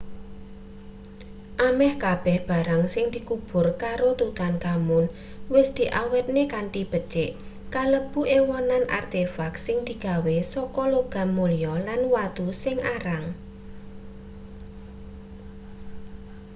ameh kabeh barang sing dikubur karo tutankhamun wis diawetne kanthi becik kalebu ewonan artefak sing digawe saka logam mulya lan watu sing arang